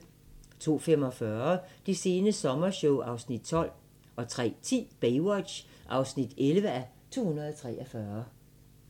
02:45: Det sene sommershow (Afs. 12) 03:10: Baywatch (11:243)